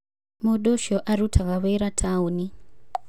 Mũndũ ũcio arutaga wĩra taoni.